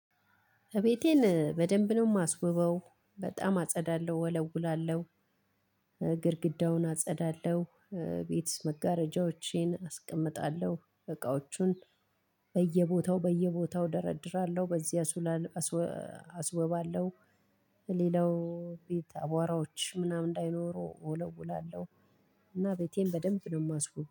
እቤቴን በደንብ ነው የማስውበው በጣም አጸዳለሁ ወለውላለሁ። ግድግዳውን አጸዳለሁ። ቤት መጋረጃዎቼን አስቀምጣለሁ እቃዎቹን በየቦታው በየቦታው ደረድራለሁ። በዚህ አስውላል አስወባለሁ። ሌላው ቤት አቧራዎች ምናምን እንዳይኖሩ እወለውላለሁ። እና ቤቴን በደንብ ነው የማስውበው